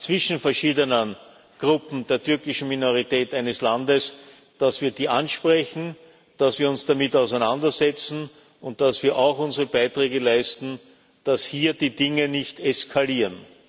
zwischen verschiedenen Gruppen der türkischen Minorität eines Landes ansprechen, dass wir uns damit auseinandersetzen und dass wir auch unsere Beiträge leisten, dass hier die Dinge nicht eskalieren.